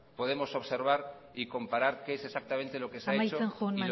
podemos observar y comparar qué es lo que exactamente se ha hecho y no se ha hecho amaitzen joan